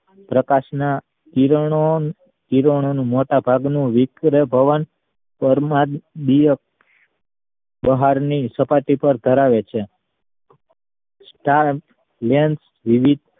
પ્રકાશ ના કિરણો કિરણનો નું મોટા ભાગ નું વિકિરણભવન કરનાર પ્રહાર ની સપાટી પર ધરાવે છે lens વિવિધ